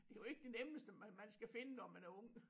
Det er jo ikke det nemmeste man skal finde når man er ung